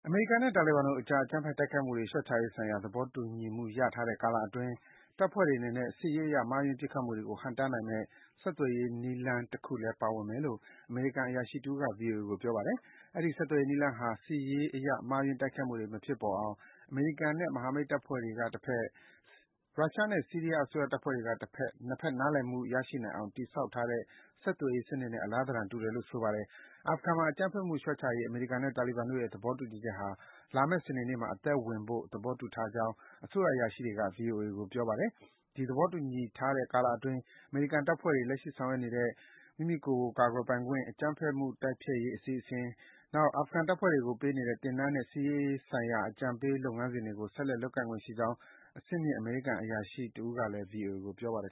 အမေရိကန်နဲ့ တာလီဘန်တို့အကြား အကြမ်းဖက်တိုက်ခိုက်မှုတွေ လျော့ချရေးဆိုင်ရာ သဘောတူညီမှုရထားတဲ့ ကာလအတွင်း တပ်ဖွဲ့တွေအနေနဲ့ စစ်ရေးအရ မှားယွင်း တွက်ချက်မှုတွေကို ဟန့်တားနိုင်မယ့် ဆက်သွယ်ရေးနည်းလမ်းတခုလည်း ပါဝင်မယ်လို့ အမေရိကန်အရာရှိတဦးက ဗွီအိုအေကို ပြောပါတယ်။ အဲဒီ ဆက်သွယ်ရေးနည်းလမ်းဟာ စစ်ရေးအရ မှားယွင်းတိုက်ခိုက်မှုတွေ မဖြစ်ပေါ်အောင် အမေရိကန်နဲ့ မဟာမိတ်တပ်ဖွဲ့တွေက တဘက် ရုရှားနဲ့ ဆီးရီးယားအစိုးရတပ်ဖွဲ့တွေက တဘက် ၊ နှစ် ဖက် နားလည်မှုရှိနိုင်အောင် တည်ဆောက်ထားတဲ့ ဆက်သွယ်စနစ်နဲ့ အလားသဏ္ဍာန် တူတယ်လို့ ဆိုပါတယ်။ အာဖဂန်မှာ အကြမ်းဖက်မှုလျော့ချရေး အမေရိကန်နဲ့ တာလီဘန်အဖွဲ့တို့ရဲ့ သဘောတူညီချက်ဟာ လာမယ့် စနေနေ့မှာ စတင်အသက်ဝင်ဖို့ သဘောတူထားကြကြောင်း အစိုးရ အရာရှိတွေက ဗွီအိုအေက ပြောပါတယ်။ ဒီ သဘောတူညီထားထဲ့ ကာလအတွင်း အမေရိကန်တပ်ဖွဲ့တွေ လက်ရှိဆောင်ရွက်နေတဲ့ မိမိကိုယ် မိမိကာကွယ်ပိုင်ခွင့်ရှိရေး၊ အကြမ်းဖက်မှု တိုက်ဖျက်ရေး အစီအစဉ်တွေ၊ နောက် အာဖဂန်တပ်ဖွဲ့တွေကို ပေးနေတဲ့ သင်တန်းနဲ့ စစ်ရေးဆိုင်ရာ အကြံပေး လုပ်ငန်းစဉ်တွေကို ဆက်လက် လုပ်ကိုင်နိုင်ခွင့်ရှိကြောင်း အဆင့်မြင့် အမေရိကန် အရာရှိတဦး ကလည်း ဗွီအိုအေကို ပြောပါတယ်